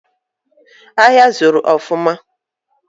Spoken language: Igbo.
Ahịa zuru ofuma